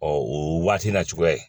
Ɔ o waati na cogoya ye